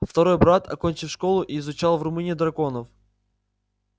второй брат окончив школу изучал в румынии драконов